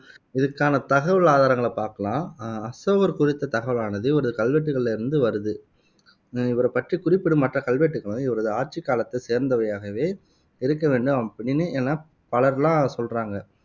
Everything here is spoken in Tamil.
இதுக்கான தகவல் ஆதாரங்காளை பாக்கலாம் ஆஹ் அசோகர் குறித்த தகவலானது இவரது கல்வெட்டுக்களில இருந்து வருது. இவரைப் பற்றிக் குறிப்பிடும் மற்ற கல்வெட்டுகளும் இவரது ஆட்சிக் காலத்தைச் சேர்ந்தவையாகவே இருக்க வேண்டும் அப்படின்னு என பல்ர் எல்லாம் சொல்றாங்க